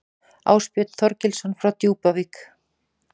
Ásbjörn Þorgilsson á Djúpavík